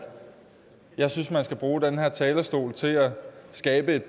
jeg synes man skal bruge den her talerstol til at skabe et